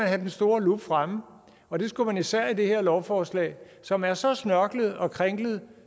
have den store lup fremme og det skulle man især med det her lovforslag som er så snørklet og kringlet